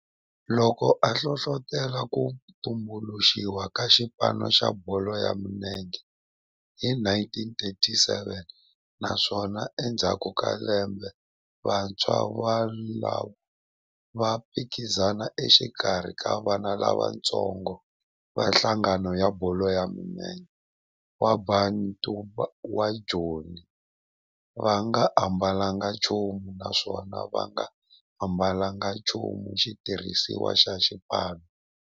Loko a hlohlotela ku tumbuluxiwa ka xipano xa bolo ya milenge hi 1937 naswona endzhaku ka lembe vantshwa volavo a va phikizana exikarhi ka vana lavatsongo va nhlangano wa bolo ya milenge wa Bantu wa Joni va nga ambalanga nchumu naswona va nga ambalanga nchumu xitirhisiwa xa xipano.